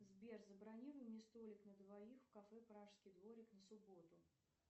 сбер забронируй мне столик на двоих в кафе пражский дворик на субботу